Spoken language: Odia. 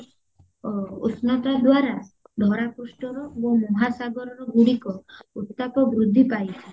ଓ ଉଷ୍ଣତା ଦ୍ଵାରା ଧରା ପୃଷ୍ଠର ଓ ମହାସାଗର ଗୁଡିକ ଉତ୍ତାପ ବୃଦ୍ଧି ପାଇଥାଏ